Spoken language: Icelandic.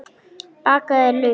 Bakaðir laukar